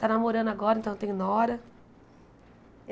Está namorando agora, então tem Nora.